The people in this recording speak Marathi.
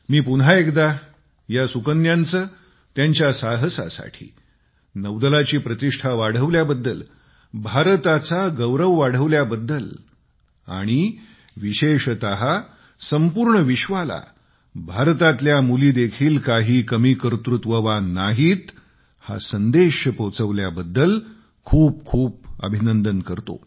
मी पुन्हा एकदा या सुकन्यांचे त्यांच्या साहसासाठी नौदलाची प्रतिष्ठा वाढवल्याबद्दल भारताचा गौरव वाढवल्याबद्दल आणि विशेषत संपूर्ण विश्वाला भारतातल्या मुलीदेखील काही कमी कर्तृत्ववान नाहीत हा संदेश पोचवल्याबद्दल खूप खूप अभिनंदन करतो